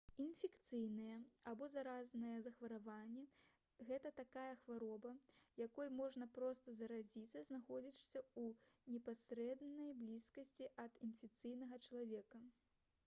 інфекцыйнае або заразнае захворванне — гэта такая хвароба якой можна проста заразіцца знаходзячыся ў непасрэднай блізкасці ад інфіцыраванага чалавека